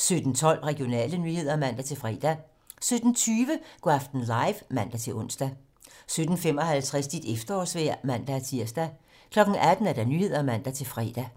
17:12: Regionale nyheder (man-fre) 17:20: Go' aften live (man-ons) 17:55: Dit efterårsvejr (man-tir) 18:00: 18 Nyhederne (man-fre)